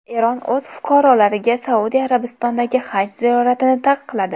Eron o‘z fuqarolariga Saudiya Arabistonidagi haj ziyoratini taqiqladi.